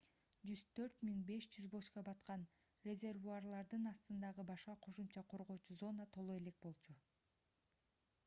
104 500 бочка баткан резервуарлардын астындагы башка кошумча коргоочу зона толо элек болчу